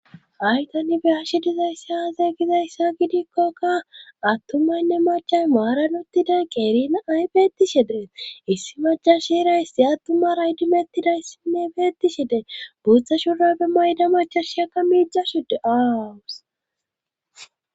ayta nibe ashi dizayssi haaze gizayssa gidikkokka attumaynne maca maaran uttiday qerina ay beetti she dee issi majashira issi attuma raydimettidayssinne beetti shidee buutha shura be mayda macha shiyakka miixa shude aawus